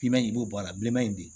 Biman in i b'o bɔ a la bilenman in bi